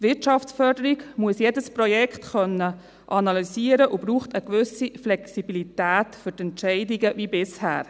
Die Wirtschaftsförderung muss jedes Projekt analysieren können und braucht eine gewisse Flexibilität für die Entscheidungen – wie bisher.